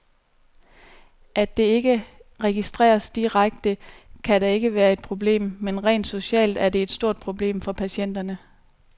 At det ikke registreres direkte, kan da ikke være et problem, men rent socialt er det et stort problem for patienterne.